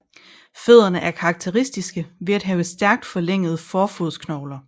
Fødderne er karakteristiske ved at have stærkt forlængede fodrodsknogler